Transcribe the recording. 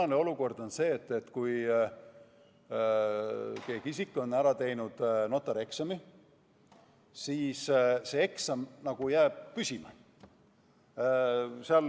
Tänane olukord on selline, et kui keegi isik on ära teinud notarieksami, siis see eksam jääb püsima.